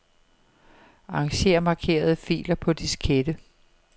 Arranger markerede filer på diskette.